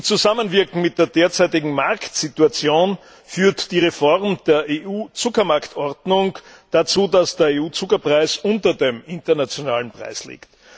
Im Zusammenwirken mit der derzeitigen Marktsituation führt die Reform der EU Zuckermarktordnung dazu, dass der EU Zuckerpreis unter dem internationalen Preis liegt.